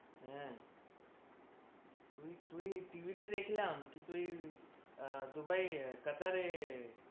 হ্যাঁ, তুই তুই TV তে দেখলাম কি তুই আহ দুবাই কাতারে